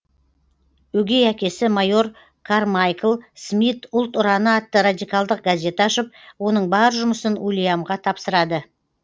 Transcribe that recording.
өгей әкесі майор кармайкл смит ұлт ұраны атты радикалдық газет ашып оның бар жұмысын уильямға тапсырады